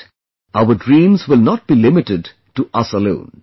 And, our dreams will not be limited to us alone